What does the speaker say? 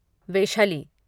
वेहश्ली